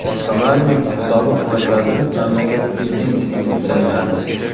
Somalining sobiq bosh vaziri mamlakat prezidenti etib saylandi.